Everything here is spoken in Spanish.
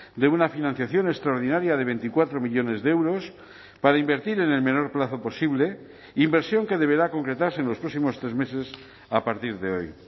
de una financiación extraordinaria de veinticuatro millónes de euros para invertir en el menor plazo posible inversión que deberá concretarse en los próximos tres meses a partir de hoy